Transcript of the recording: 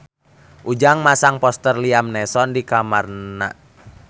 Ujang masang poster Liam Neeson di kamarna